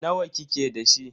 Nawa kike da shi?